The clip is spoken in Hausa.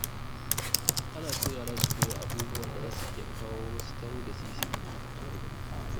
Ana so yara su koyi abubuwa da za su iya kawo musu taro da sisi a nan gaba.